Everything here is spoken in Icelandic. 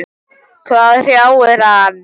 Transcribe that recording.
Hvað hrjáir hann?